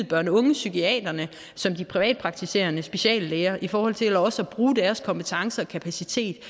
børn og unge psykiaterne som de privatpraktiserende speciallæger i forhold til også at bruge deres kompetencer og kapacitet